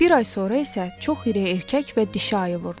Bir ay sonra isə çox iri erkək və dişi ayı vurdu.